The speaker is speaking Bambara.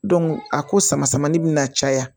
a ko sama samali bɛna caya